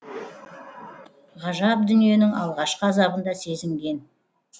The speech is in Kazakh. ғажап дүниенің алғашқы азабын да сезінген